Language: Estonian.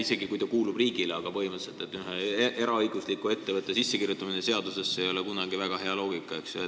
Ta võib küll kuuluda riigile, aga põhimõtteliselt ei ole ühe eraõigusliku ettevõtte sissekirjutamine seadusesse kunagi väga hea loogika.